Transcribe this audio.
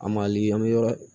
A mali an bɛ yɔrɔ